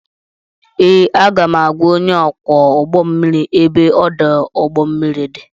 Ee, aga m agwa onye ọkwọ ụgbọ mmiri ebe ọdụ ụgbọ mmiri dị